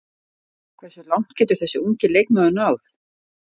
Hversu langt getur þessi ungi leikmaður náð?